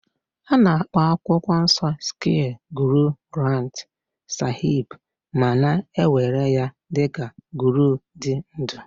A na-akpọ akwụkwọ nsọ sikh Guru Granth sahib ma na-ewere ya dị ka Guru dị ndụ